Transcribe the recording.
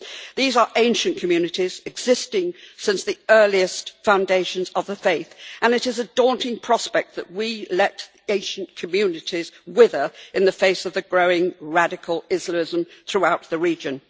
These are ancient communities, existing since the earliest foundations of the faith, and it is a daunting prospect that we could let Asian communities wither in the face of the growing radical Islamism throughout the region.